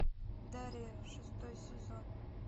дарья шестой сезон